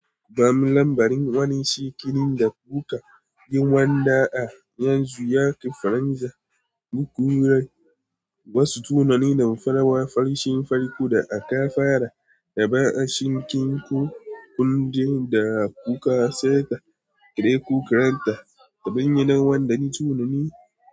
Ba mu lambarin wani shekini da kuka jin wanda a yanzu ya kifaranja, duk wurai wasu tunanin da farawa farshin farko da aka fara da ba a shinkin ku, kun je da kuka seta kreku kranta, ka binne nan wanda ne tunani.